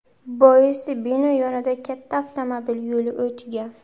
Boisi bino yonida katta avtomobil yo‘li o‘tgan.